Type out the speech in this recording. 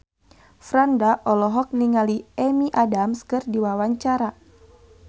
Franda olohok ningali Amy Adams keur diwawancara